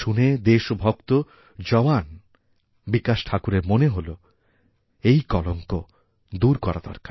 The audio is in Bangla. শুনে দেশভক্ত জওয়ান বিকাশ ঠাকুরের মনে হল এই কলঙ্ক দূরকরা দরকার